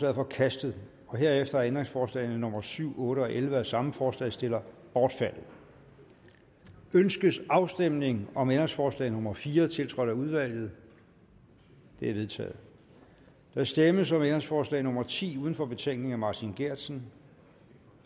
er forkastet herefter er ændringsforslagene nummer syv otte og elleve af samme forslagsstiller bortfaldet ønskes afstemning om ændringsforslag nummer fire tiltrådt af udvalget det er vedtaget der stemmes om ændringsforslag nummer ti uden for betænkningen af martin geertsen